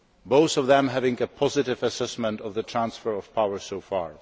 both of them having a positive assessment of the transfer of power so far.